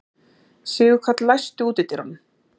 Sigurkarl, læstu útidyrunum.